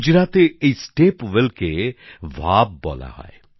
গুজরাতে এই স্টেপ ওয়েলকে ভাভ বলা হয়